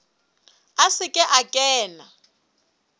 a se ke a kena